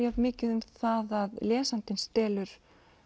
jafn mikið um það að lesandinn stelur